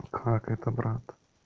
как это брат